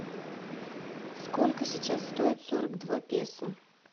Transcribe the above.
сколько сейчас стоит сорок два песо